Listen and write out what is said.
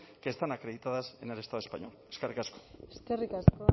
que están acreditadas en el estado español eskerrik asko eskerrik asko